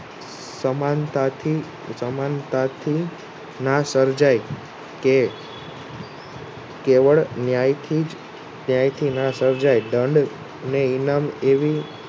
સમાનતાથી સમાનતાથી ના સર્જાય કે કેવળ ન્યાયથી જ સર્જાય દંડ ને ઇનામ એવી